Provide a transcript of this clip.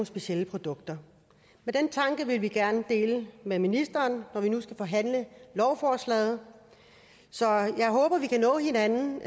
specielle produkter men den tanke vil vi gerne dele med ministeren når vi nu skal forhandle lovforslaget så jeg håber vi kan nå hinanden